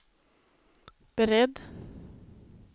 beredd